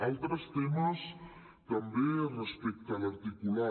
altres temes també respecte a l’articulat